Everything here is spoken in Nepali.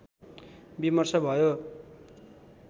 विमर्श भयो